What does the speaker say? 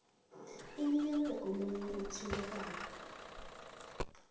inikelwe omunye othintekako